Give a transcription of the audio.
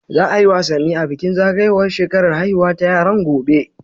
Za a yi wasanni a bikin zagayowar shekarar haihuwa ta yaran, gobe.